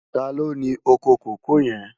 Tàló ni ókó kókòó yèn?